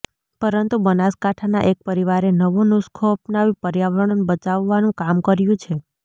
પરંતુ બનાસકાંઠાના એક પરિવારે નવો નુસખો અપનાવી પર્યાવરણ બચાવવાનું કામ કર્યુ છે